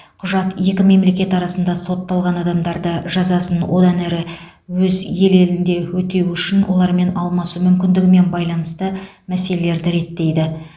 құжат екі мемлекет арасында сотталған адамдарды жазасын одан әрі өз ел елінде өтеу үшін олармен алмасу мүмкіндігімен байланысты мәселелерді реттейді